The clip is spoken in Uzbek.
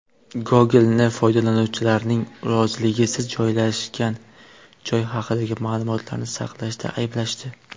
Google’ni foydalanuvchilarning roziligisiz joylashgan joy haqidagi ma’lumotlarni saqlashda ayblashdi.